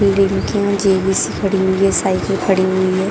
Building के यहाँ JCB खड़ी हुई हैं साइकिल खड़ी हुई हैं।